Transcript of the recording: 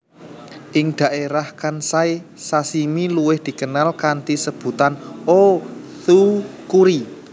Ing dhaérah Kansai sashimi luwiih dikenal kanthi sebutan O tsukuri